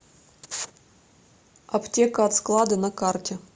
аптека от склада на карте